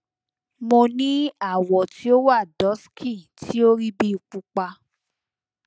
mo ni awo ti o wa dusky ti o ri bi pupa